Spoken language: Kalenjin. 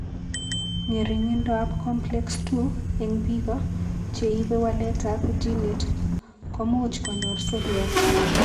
Ng'ering'indoab Complex II eng' biko che ibe waletab ginit ko much konyor seriat.